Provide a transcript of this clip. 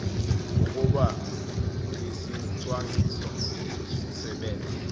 ukuba isicwangciso sisebenze